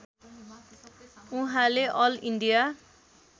उहाँले all India